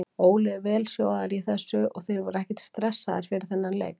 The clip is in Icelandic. Óli er vel sjóaður í þessu og þeir voru ekkert stressaðir fyrir þennan leik.